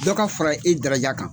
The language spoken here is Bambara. Dɔ ka fara e daraja kan.